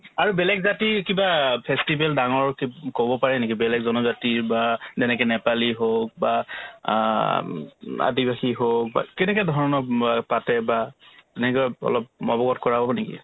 আৰু বেলেগ জাতিৰ কিবা festival ডাঙৰকে ক'ব পাৰে নেকি বেলেগ জনজাতিৰ বা যেনেকে নেপালী হওক বা আ উম আদিবাসী হওক বা কেনেকে ধৰণৰ বা পাতে বা নিজৰ অলপ অৱগত কৰাব নেকি ?